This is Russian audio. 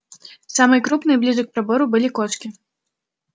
самые крупные ближе к пробору были кошки